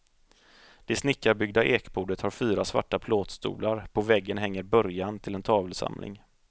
Det snickarbyggda ekbordet har fyra svarta plåtstolar, på väggen hänger början till en tavelsamling.